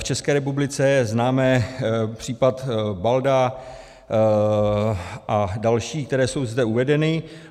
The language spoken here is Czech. V České republice známe případ Balda a další, které jsou zde uvedeny.